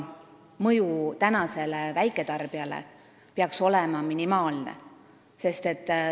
Mõju väiketarbijale peaks olema minimaalne.